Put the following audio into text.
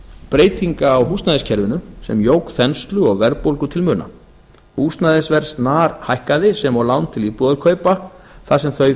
breytinga á húsnæðiskerfinu sem jók þenslu og verðbólgu til muna húsnæðisverð snarhækkaði sem og lán til íbúðarkaupa þar sem þau